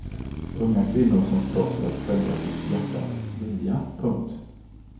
Unga kvinnor som slåss för att följa sitt hjärtas vilja. punkt